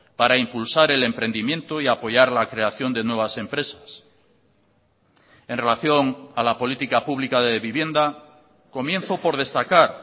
para impulsar el emprendimiento y apoyar la creación de nuevas empresas en relación a la política pública de vivienda comienzo por destacar